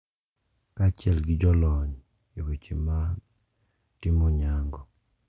Kaachiel gi jolony e weche mag timo nyango.